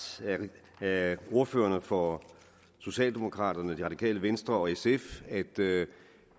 af ordførerne for socialdemokraterne det radikale venstre og sf at det